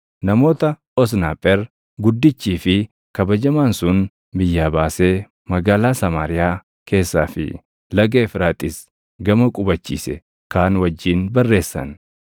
namoota Osnaapher guddichii fi kabajamaan sun biyyaa baasee magaalaa Samaariyaa keessaa fi Laga Efraaxiis gama qubachiise kaan wajjin barreessan.